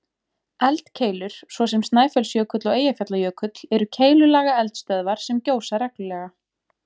Eldkeilur, svo sem Snæfellsjökull og Eyjafjallajökull, eru keilulaga eldstöðvar sem gjósa reglulega.